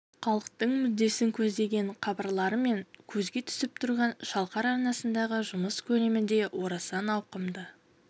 халықтың мүддесін көздеген хабарларымен көзге түсіп тұрған шалқар арнасындағы жұмыс көлемі де орасан ауқымды